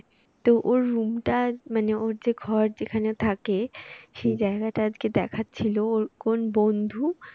তো ওর room টা মানে ওর যে ঘর যেখানে থাকে সেই জায়গাটা আজকে দেখাচ্ছিল ওর কোন বন্ধু